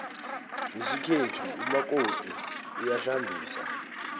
ngesikhethu umakoti uyahlambisa